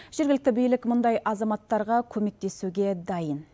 жергілікті билік мұндай азаматтарға көмектесуге дайын